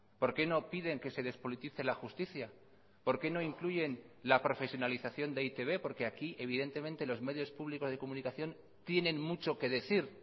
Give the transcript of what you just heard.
por qué no piden que se despolitice la justicia por qué no incluyen la profesionalización de e i te be porque aquí evidentemente los medios públicos de comunicación tienen mucho que decir